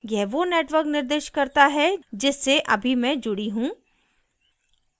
यह वो network निर्दिष्ट करता है जिससे अभी मैं जुडी हूँ